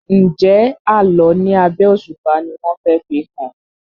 Njé Àlọ ní abé òṣùpá ní wón fè fihàn?